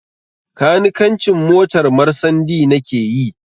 Kanikancin motar marsandi na ke yi